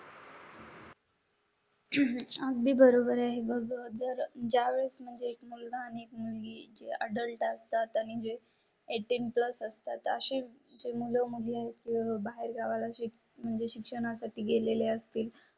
अह आम्ही बरोबर आहे. मग जर ज्या वेळेस म्हणजे एक मुलगी अडल्ट असतात आणि जे अठार प्लस असतात असे जे मुलं मध्ये बाहेर गावा लाच एक म्हणजे चुना साठी गेलेले असतील.